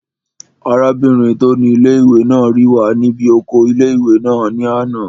Arábìnrin tó ni ilé-ìwé náà rí wa ní bí oko ilé-ìwé náà ní àná